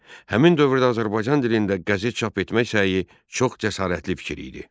Həmin dövrdə Azərbaycan dilində qəzet çap etmək səyi çox cəsarətli fikir idi.